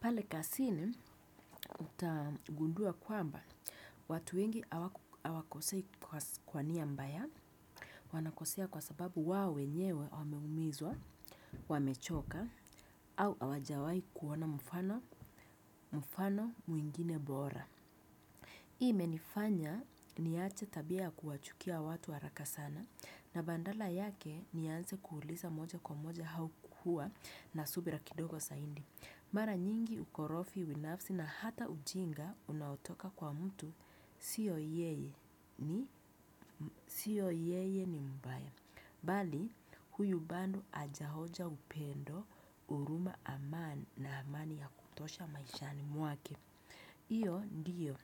Pale kazini utagundua kwamba watu wengi hawakosei kwa nia mbaya wanakosea kwa sababu wa wenyewe wameumizwa, wamechoka au hawajawai kuona mfano mfano mwingine bora. Hii imenifanya niache tabia kuwachukia watu haraka sana na badala yake nianze kuuliza moja kwa moja au kuwa na subira kidogo zaidi. Mara nyingi ukorofi binafsi na hata ujinga unaotoka kwa mtu siyo yeye ni mmbaya. Mbali, huyu bado hajaonja upendo huruma amani na amani ya kutosha maishani mwake. Hyo ndiyo,